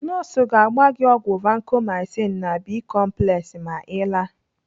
Nọọsụ ga-agba gị ọgwụ Vacomycin na Bi-complex ma Ị laa.